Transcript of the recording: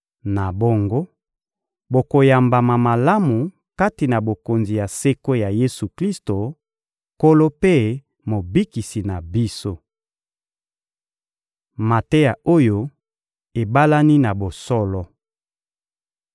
Na bongo, bokoyambama malamu kati na Bokonzi ya seko ya Yesu-Klisto, Nkolo mpe Mobikisi na biso. Mateya oyo ebalani na bosolo